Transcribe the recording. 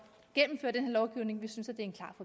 lovgivning vi synes at